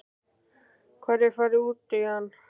Hvar er farið út í hann?